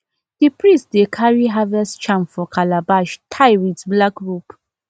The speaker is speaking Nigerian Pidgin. the priest dey carry harvest charm for calabash tie with black rope